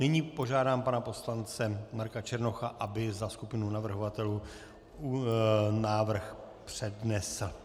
Nyní požádám pana poslance Marka Černocha, aby za skupinu navrhovatelů návrh přednesl.